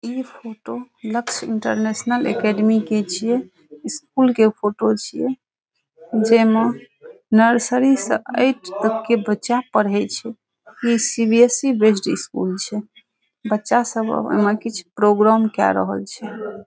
इ photo Lakshya international academy के छीये स्कूल के फोटो छीये जे में नर्सरी से ऐट तक के बच्चा पढ़े छै इ सी.बी.एस.ई. बेस्ड स्कूल छै बच्चा सब ए मे कीछ प्रोग्राम के रहल छै।